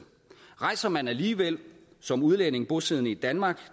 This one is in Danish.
rejser man alligevel som udlænding bosiddende i danmark